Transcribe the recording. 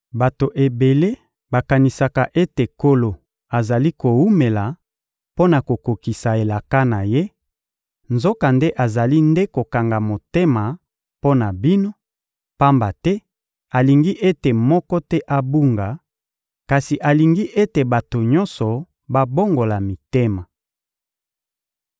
Bato ebele bakanisaka ete Nkolo azali kowumela mpo na kokokisa elaka na Ye; nzokande azali nde kokanga motema mpo na bino, pamba te alingi ete moko te abunga, kasi alingi ete bato nyonso babongola mitema.